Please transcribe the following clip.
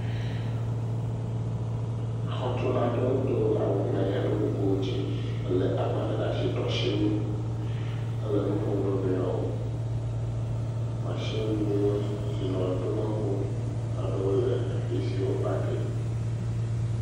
Xɔtula ɖewo do awu ŋlaya, ɖɔ kuku dze, lé agbalẽ ɖe asi, do asiwui hele nu ƒom na wo nɔewo, matsin…